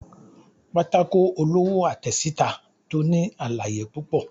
pàtàkó olowo àtesitá to ní àlàyé pupọ